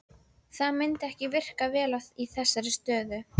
Það myndi ekki virka vel í þessari stöðu.